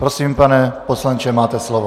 Prosím, pane poslanče, máte slovo.